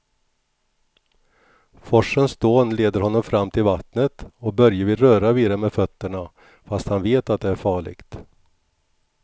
Forsens dån leder honom fram till vattnet och Börje vill röra vid det med fötterna, fast han vet att det är farligt.